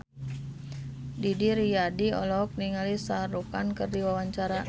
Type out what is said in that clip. Didi Riyadi olohok ningali Shah Rukh Khan keur diwawancara